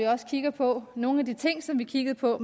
også kigger på nogle af de ting som vi kiggede på